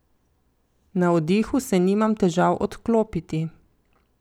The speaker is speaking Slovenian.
Na oddihu se nimam težav odklopiti.